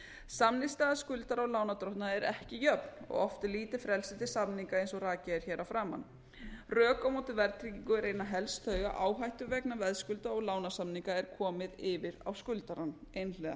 samningsstaða skuldara og lánardrottna er ekki jöfn og oft er lítið frelsi til samninga eins og rakið er hér að framan rök á móti verðtryggingu eru einna helst þau að áhættu vegna veðskulda og lánasamninga er komið yfir á skuldarann einhliða